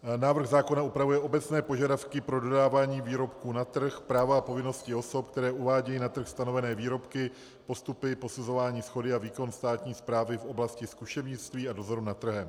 Návrh zákona upravuje obecné požadavky pro dodávání výrobků na trh, práva a povinnosti osob, které uvádějí na trh stanovené výrobky, postupy posuzování shody a výkon státní správy v oblasti zkušebnictví a dozoru nad trhem.